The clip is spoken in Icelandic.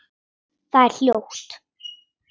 Það er hljótt.